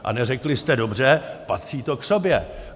A neřekli jste dobře, patří to k sobě?